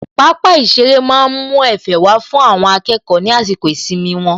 Pápá ìṣeré má ń mú Ẹ̀fẹ̀ wá fún àwọn akẹ́kọ̀ọ́ ní àsìkò ìsinmi wọn